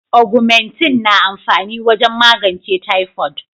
"Augumentin" na amfani wajen magance typhoid.